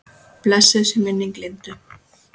Blessuð sé minning Lindu.